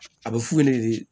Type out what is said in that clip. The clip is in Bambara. A bɛ f'u ɲɛna de